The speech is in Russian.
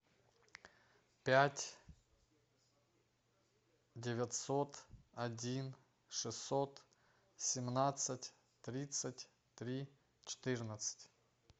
пять девятьсот один шестьсот семнадцать тридцать три четырнадцать